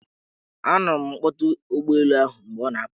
A nụrụ m mkpọtụ ụgbọelu ahụ mgbe ọ na-apụ.